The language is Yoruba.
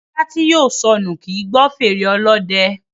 Ajá tí yóò sọnù kì í gbọ́ fèrè Ọlọ́dẹ